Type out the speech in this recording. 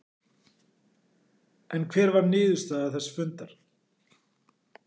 En hver var niðurstaða þess fundar?